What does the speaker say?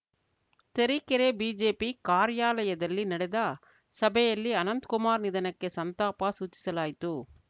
Tarikere BJP ಕಾರ್ಯಾಲಯದಲ್ಲಿ ನಡೆದ ಸಭೆಯಲ್ಲಿ ಅನಂತ್ ಕುಮಾರ್‌ ನಿಧನಕ್ಕೆ ಸಂತಾಪ ಸೂಚಿಸಲಾಯಿತು